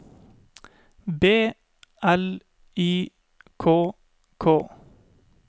B L I K K